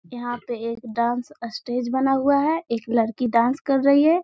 यहाँ पे एक डांस स्टेज बना हुआ है। एक लड़की डांस कर रही है|